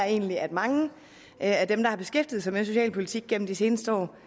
egentlig at mange af dem der har beskæftiget sig med socialpolitik gennem de seneste år